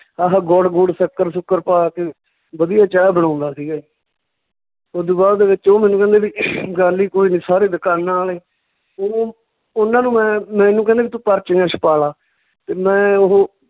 ਆਹ ਗੁੜ ਗੂੜ, ਸੱਕਰ ਸੂਕਰ ਪਾ ਕੇ ਵਧੀਆ ਚਾਹ ਬਣਾਉਂਦਾ ਸੀਗਾ ਓਦੂ ਬਾਅਦ ਦੇ ਵਿੱਚ ਉਹ ਮੈਨੂੰ ਕਹਿੰਦੇ ਵੀ ਗੱਲ ਈ ਕੋਈ ਨੀ ਸਾਰੇ ਦਕਾਨਾਂ ਆਲੇ ਉਹਨਾਂ ਨੂੰ ਮੈਂ ਮੈਨੂੰ ਕਹਿੰਦੇ ਵੀ ਤੂੰ ਪਰਚੀਆਂ ਛਪਾਲਾ ਤੇ ਮੈਂ ਉਹ